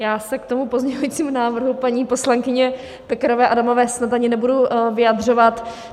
Já se k tomu pozměňovacímu návrhu paní poslankyně Pekarové Adamové snad ani nebudu vyjadřovat.